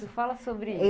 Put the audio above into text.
Isso, fala sobre isso.